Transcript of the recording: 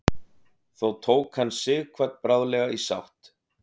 þó tók hann sighvat bráðlega í sátt